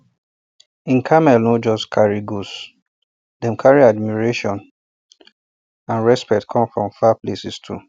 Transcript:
hin camel no um just um carry goods dem carry admiration and respect come from far places too